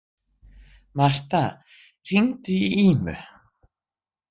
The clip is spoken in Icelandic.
Martha, hringdu í Ímu.